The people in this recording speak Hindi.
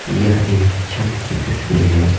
यह एक छत की तस्वीर है।